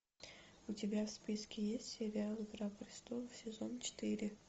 у тебя в списке есть сериал игра престолов сезон четыре